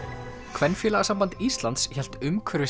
Kvenfélagasamband Íslands hélt